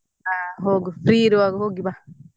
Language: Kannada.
ಹಾ ಹೋಗು free ಇರುವಾಗ ಹೋಗಿ ಬಾ.